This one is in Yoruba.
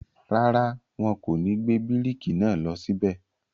rárá, wọn kò ní gbé bíríkì náà lọ síbẹ̀.